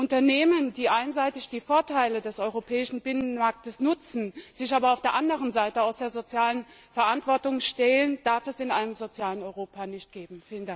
Unternehmen, die einseitig die Vorteile des europäischen Binnenmarktes nutzen, sich aber auf der anderen Seite aus der sozialen Verantwortung stehlen, darf es in einem sozialen Europa nicht geben.